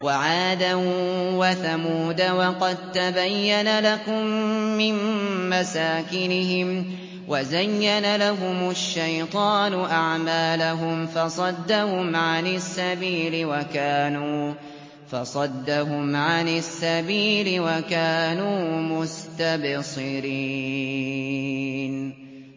وَعَادًا وَثَمُودَ وَقَد تَّبَيَّنَ لَكُم مِّن مَّسَاكِنِهِمْ ۖ وَزَيَّنَ لَهُمُ الشَّيْطَانُ أَعْمَالَهُمْ فَصَدَّهُمْ عَنِ السَّبِيلِ وَكَانُوا مُسْتَبْصِرِينَ